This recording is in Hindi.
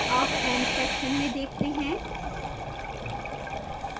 अब end section में देखते हैं